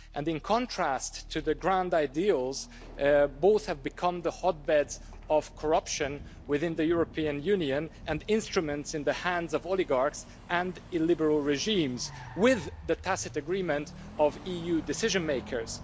In contrast to the grand ideals, both have become hotbeds of corruption within the European Union and instruments in the hands of oligarchs and illiberal regimes, with the tacit agreement of EU decision-makers.